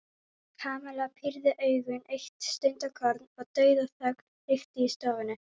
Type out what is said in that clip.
Kamilla pírði augun eitt stundarkorn og dauðaþögn ríkti í stofunni.